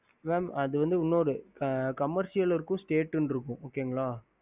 ஹம்